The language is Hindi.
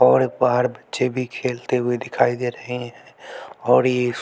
और बाहर बच्चे भी खेलते हुए दिखाई दे रहे है और ये--